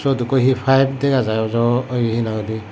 huduko he paabe dagajai ojol he na hoi day.